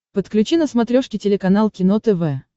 подключи на смотрешке телеканал кино тв